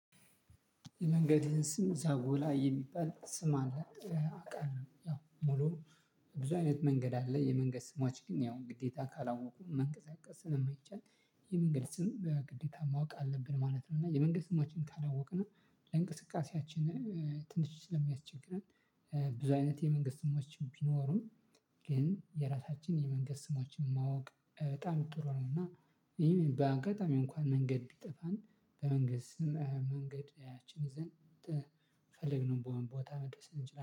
የመንገድ ስም ዛጎላ የሚባል ስም አለ አውቃለሁ ያው ሙሉ ብዙ አይነት መንገድ አለ የመንገድ ስሞች ግን ያው ግዴታ ካላወቁ መንቀሳቀስ ስለማይቻል የመንገድ ስም በግዴታ ማወቅ አለብን ማለት ነው። እና የመንገድ ስሞችን ካወቅነው ለእንቅስቃሴያችን ትንሽ ስለሚያስቸግረን ብዙ አይነት የመንገድ ስሞች ቢኖሩም ግን የራሳችን የመንገድ ስሞችን ማወቅ በጣም ጥሩ ነው። እና ይሄን በአጋጣሚ እንኳን መንገድ ቢጠፋን በመንገድ ስም መንገድ ያችን ይዘን ተፈለግንበት ቦታ መድረስ እንችላለን